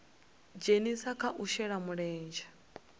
dzhenisa kha u shela mulenzhe